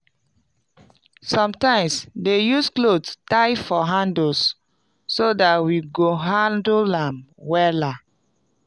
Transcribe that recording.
sometimeswe dey use cloth tie for handles so dat we go hanle am wela